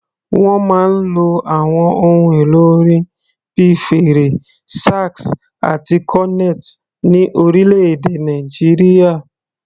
Wọ́n máa ń lo àwọn ohun èlò orin bíi fèrè, sax àti cornet ní orílẹ̀-èdè Nàìjíríà.